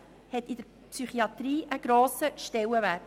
Das hat in der Psychiatrie einen grossen Stellenwert.